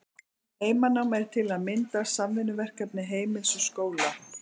Heimanám er til að mynda samvinnuverkefni heimilis og skóla.